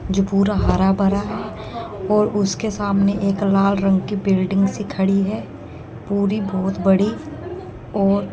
जो पूरा हरा भरा और उसके सामने एक लाल रंग की बिल्डिंग सी खड़ी है पूरी बहुत बड़ी और--